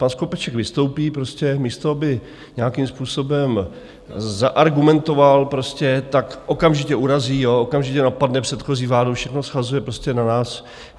Pan Skopeček vystoupí prostě, místo aby nějakým způsobem zaargumentoval, tak okamžitě urazí, okamžitě napadne předchozí vládu, všechno shazuje prostě na nás.